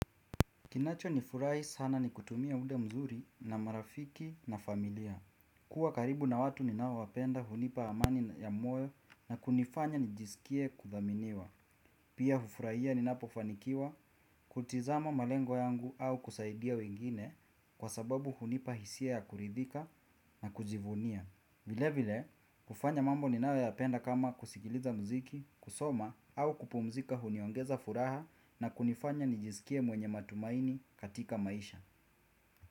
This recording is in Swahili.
Kinacho nifurai sana ni kutumia muda vizuri na marafiki na familia. Kuwa karibu na watu ninao wapenda hunipa amani ya moyo na kunifanya nijisikie kuthaminiwa. Pia hufuraiya ninapofanikiwa kutizama malengo yangu au kusaidia wengine kwa sababu hunipa hisia ya kuridhika na kujivunia. Vile vile, kufanya mambo ni nayo ya penda kama kusikiliza muziki, kusoma au kupumzika huniongeza furaha na kunifanya nijisikie mwenye matumaini katika maisha.